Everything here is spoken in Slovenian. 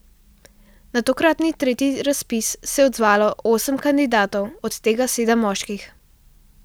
Na tokratni tretji razpis se je odzvalo osem kandidatov, od tega sedem moških.